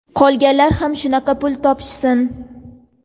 Qolganlar ham shunaqa pul topishsin!.